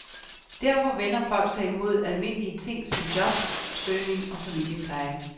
Derfor vender folk sig imod almindelige ting som jobsøgning og familiepleje.